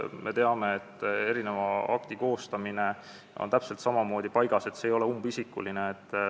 Me teame, et aktide koostamine on täpselt samamoodi paigas, see ei ole umbisikuline.